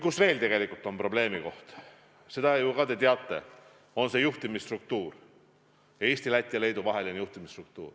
Teine probleemikoht, seda ju ka te teate, on juhtimisstruktuur, Eesti, Läti ja Leedu vahel kehtiv juhtimisstruktuur.